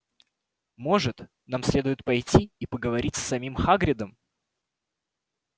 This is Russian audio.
может нам следует пойти и поговорить с самим хагридом